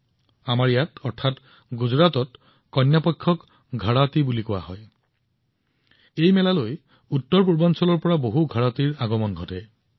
আমাৰ ইয়াত কন্যা পক্ষক ঘৰাটি বুলি কোৱা হয় আৰু এতিয়া উত্তৰপূৰ্বাঞ্চলৰ বহুতো ঘৰাটিও এই মেলালৈ আহিবলৈ আৰম্ভ কৰিছে